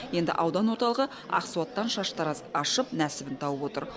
енді аудан орталығы ақсуаттан шаштараз ашып нәсібін тауып отыр